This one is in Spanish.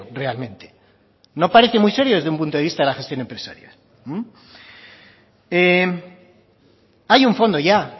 realmente no parece muy serio desde un punto de vista de la gestión empresarial hay un fondo ya